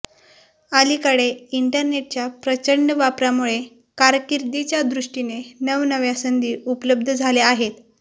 अलीकडे इंटरनेच्या प्रचंड वापरामुळे कारकिर्दीच्या दृष्टीने नवनव्या संधी उपलब्ध झाल्या आहेत